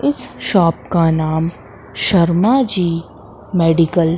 इस शॉप का नाम शर्मा जी मेडिकल --